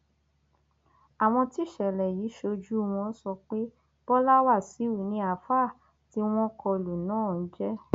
àwọn tíṣẹlẹ yìí ṣojú wọn sọ pé bọlá wáṣíù ni àáfàá tí wọn kọ lù náà ń jẹ